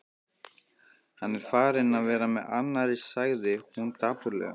Hann er farinn að vera með annarri, sagði hún dapurlega.